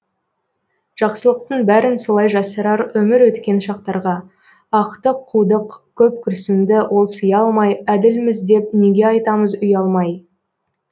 жақсылықтың бәрін солай жасырар өмір өткен шақтарға ақты қудық көп күрсінді ол сыя алмай әділміз деп неге айтамыз ұялмай